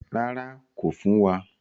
Rárá, kò fún wa.